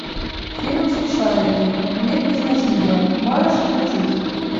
фильм смешарики мир без насилия можешь включить